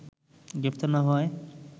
গ্রেপ্তার না হওয়ায়